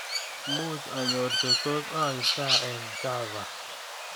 Muuch anyor chetos aip gaa eng chava